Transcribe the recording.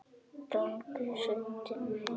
Gangur undir hesti.